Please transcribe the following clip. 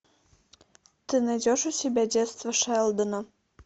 ты найдешь у себя детство шелдона